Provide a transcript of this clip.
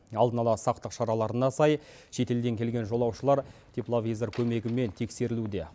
алдын ала сақтық шараларына сай шетелден келген жолаушылар тепловизор көмегімен тексерілуде